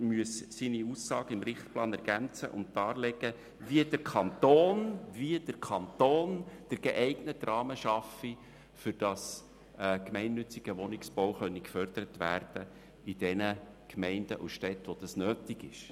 Er müsse seine Aussage im Richtplan ergänzen und darlegen, wie der Kanton den geeigneten Rahmen schaffe, damit in denjenigen Gemeinden und Städten, wo es nötig ist, gemeinnütziger Wohnungsbau gefördert werden könne.